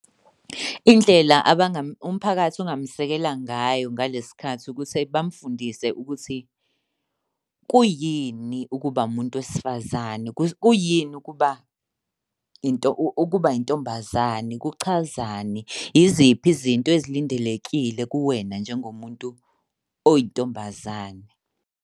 Indlela umphakathi ongamuseka ngayo ngale sikhathi ukuthi bamfundise ukuthi kuyini ukuba umuntu wesifazane. Kuyini ukuba ukuba intombazane. Kuchazani, yiziphi izinto ezilindelekile kuwena njengomuntu oyintombazane?